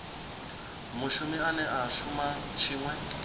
mushumi ane a shuma tshiṅwe